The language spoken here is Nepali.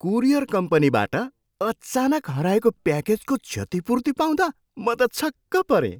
कुरियर कम्पनीबाट अचानक हराएको प्याकेजको क्षतिपूर्ति पाउँदा म त छक्क परेँ।